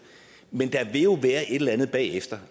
men der vil jo være et eller andet bagefter